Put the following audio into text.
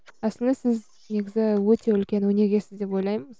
әсілі сіз негізі өте үлкен өнегесіз деп ойлаймын